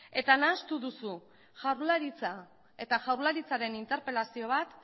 eta nahastu duzu jaurlaritza eta jaurlaritzaren interpelazio bat